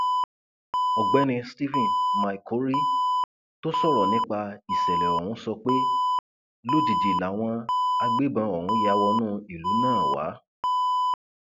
ọgbẹni stephen maikori tó sọrọ nípa ìṣẹlẹ ọhún sọ pé lójijì làwọn agbébọn ọhún ya wọnú ìlú náà wà